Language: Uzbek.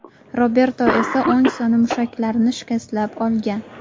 Roberto esa o‘ng soni mushaklarini shikastlab olgan.